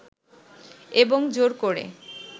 এবং জোর করে